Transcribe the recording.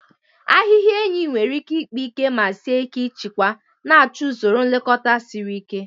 Ahịhịa enyi nwere ike ịkpa ike ma sie ike ịchịkwa, na-achọ usoro nlekọta siri ike.